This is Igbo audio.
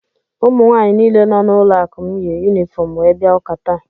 Ụmụnwaanyị niile nọ n’ụlọụka m yi yunifọm wee bia ụka taa.